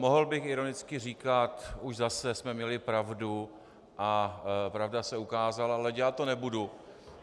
Mohl bych ironicky říkat už zase jsme měli pravdu a pravda se ukázala, ale dělat to nebudu.